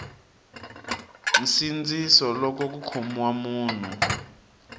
nsindziso loko ku khomiwa munhu